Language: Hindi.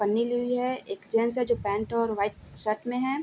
पन्नी ली हुई है एक जेंट्स है जो पैंट और व्हाइट शर्ट में है ।